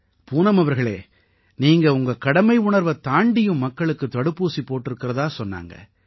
பூனம் அவர்களே நீங்க உங்க கடமை உணர்வைத் தாண்டியும் மக்களுக்குத் தடுப்பூசி போட்டிருக்கறதா சொன்னாங்க